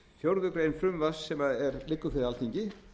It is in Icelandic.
fjórðu greinar frumvarps sem liggur fyrir alþingi